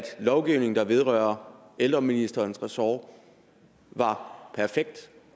lovgivning der vedrører ældreministerens ressort var perfekt